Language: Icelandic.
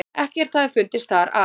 Ekkert hafi fundist þar að